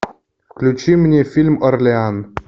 включи мне фильм орлеан